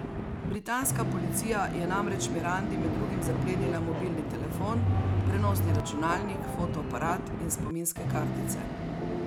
Britanska policija je namreč Mirandi med drugim zaplenila mobilni telefon, prenosni računalnik, fotoaparat in spominske kartice.